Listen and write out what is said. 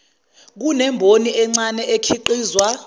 inemboni encane okhiqizwa